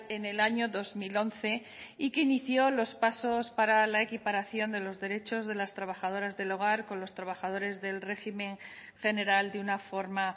en el año dos mil once y que inició los pasos para la equiparación de los derechos de las trabajadoras del hogar con los trabajadores del régimen general de una forma